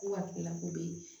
Ko hakilila ko bɛ yen